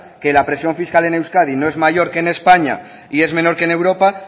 que la presión fiscal en euskadi no es mayor que en españa y es menor que en europa